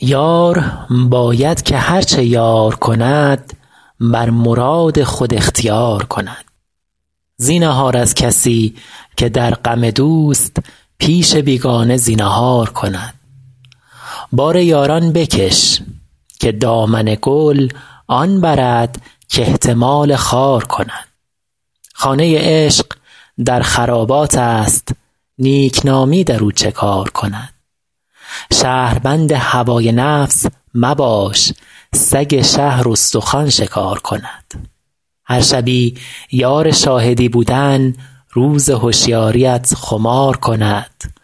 یار باید که هر چه یار کند بر مراد خود اختیار کند زینهار از کسی که در غم دوست پیش بیگانه زینهار کند بار یاران بکش که دامن گل آن برد کاحتمال خار کند خانه عشق در خراباتست نیکنامی در او چه کار کند شهربند هوای نفس مباش سگ شهر استخوان شکار کند هر شبی یار شاهدی بودن روز هشیاریت خمار کند